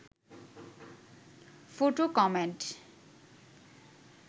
photo comment